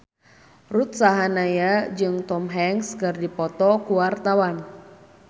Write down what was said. Ruth Sahanaya jeung Tom Hanks keur dipoto ku wartawan